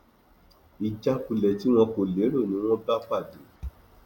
ìjákulẹ tí wọn kò lérò ni wọn bá pàdé